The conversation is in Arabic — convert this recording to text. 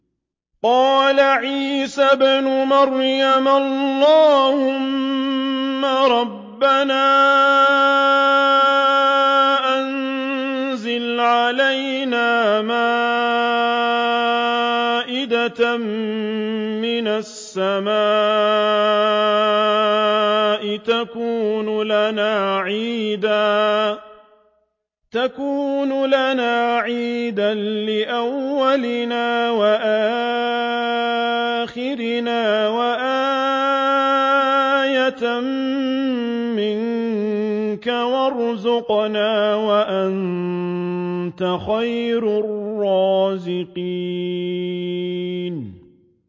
قَالَ عِيسَى ابْنُ مَرْيَمَ اللَّهُمَّ رَبَّنَا أَنزِلْ عَلَيْنَا مَائِدَةً مِّنَ السَّمَاءِ تَكُونُ لَنَا عِيدًا لِّأَوَّلِنَا وَآخِرِنَا وَآيَةً مِّنكَ ۖ وَارْزُقْنَا وَأَنتَ خَيْرُ الرَّازِقِينَ